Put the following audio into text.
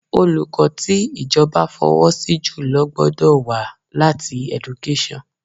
Olùkọ́ tí ìjọba fọwọ́ sí jùlọ gbọ́dọ̀ wá láti Education